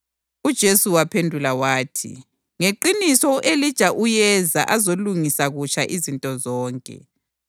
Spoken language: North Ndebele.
UJesu waphendula wathi, “Ngeqiniso, u-Elija uyeza azolungisa kutsha izinto zonke.